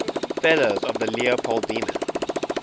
fellows of the leopoldina